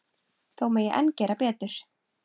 Þó megi enn gera betur.